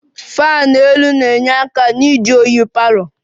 Onye na-akwado ụlọ na-enyere aka na oyi palour